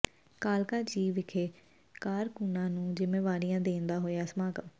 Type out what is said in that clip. ਕਾਲਕਾ ਜੀ ਵਿਖੇ ਕਾਰਕੂੰਨਾ ਨੂੰ ਜ਼ਿਮੇਵਾਰੀਆਂ ਦੇਣ ਦਾ ਹੋਇਆ ਸਮਾਗਮ